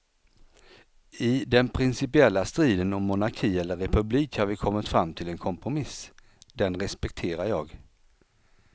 I den principiella striden om monarki eller republik har vi kommit fram till en kompromiss, den respekterar jag.